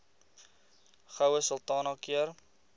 goue sultana keur